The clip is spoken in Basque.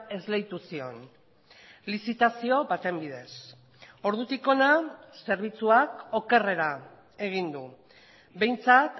esleitu zion lizitazio baten bidez ordutik hona zerbitzuak okerrera egin du behintzat